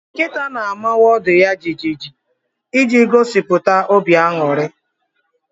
Nkịta na-amawa ọdụ ya jijiji iji gosipụta obi aṅụrị